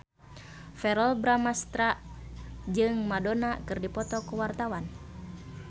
Verrell Bramastra jeung Madonna keur dipoto ku wartawan